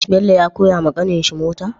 Bello ya koyawa kanin shi mota?